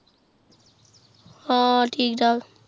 ਹਾਂ ਠੀਕ ਠਾਕ